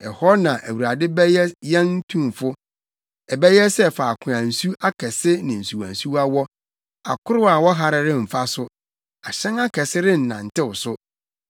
Ɛhɔ na Awurade bɛyɛ yɛn Tumfo. Ɛbɛyɛ sɛ faako a nsu akɛse ne nsuwansuwa wɔ. Akorow a wɔhare remfa so ahyɛn akɛse rennantew so.